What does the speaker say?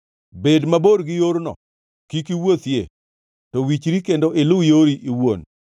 Bed mabor gi yorno, kik iwuothie, to wichri kendo iluw yori iwuon.